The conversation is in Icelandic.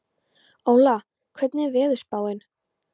Óla, hvernig er veðurspáin?